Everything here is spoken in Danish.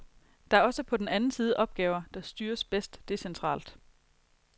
Der er også på den anden side opgaver, der styres bedst decentralt.